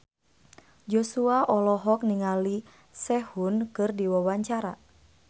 Joshua olohok ningali Sehun keur diwawancara